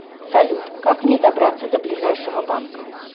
салют как мне добраться до ближайшего банка